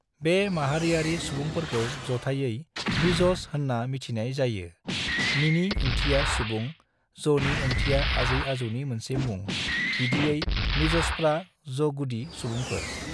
बे माहारियारि सुबुंफोरखौ जथाइयै मिज'स होनना मिथिनाय जायो (मीनि ओंथिया सुबुं, ज'नि ओंथिया आजै-आजौनि मोनसे मुं; बिदियै मिज़ोसफ्रा ज'गुदि सुबुंफोर)।